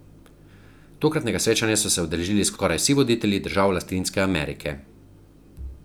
Tokratnega srečanja so se udeležili skoraj vsi voditelji držav Latinske Amerike.